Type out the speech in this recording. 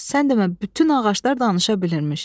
Sən demə bütün ağaclar danışa bilirmiş.